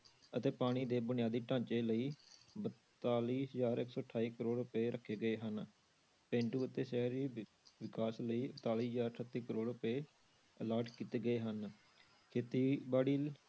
ਅਤੇ ਪਾਣੀ ਦੇ ਬੁਨਿਆਦੀ ਢਾਂਚੇ ਲਈ ਬਤਾਲੀ ਹਜ਼ਾਰ ਇੱਕ ਸੌ ਅਠਾਈ ਕਰੌੜ ਰੁਪਏ ਰੱਖੇ ਗਏ ਹਨ, ਪੇਂਡੂ ਅਤੇ ਸ਼ਹਿਰੀ ਵਿਕਾਸ ਲਈ ਇਕਤਾਲੀ ਹਜ਼ਾਰ ਅਠੱਤੀ ਕਰੌੜ ਰੁਪਏ allot ਕੀਤੇ ਗਏ ਹਨ, ਖੇਤੀਬਾੜੀ